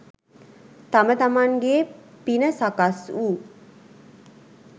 තම තමන්ගේ පින සකස් වූ